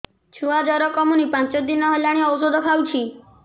ଛୁଆ ଜର କମୁନି ପାଞ୍ଚ ଦିନ ହେଲାଣି ଔଷଧ ଖାଉଛି